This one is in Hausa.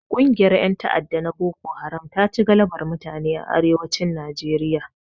Kungiyar ƴan ta'adda na boko haram taci galabar mutane a Arewacin Nijeriya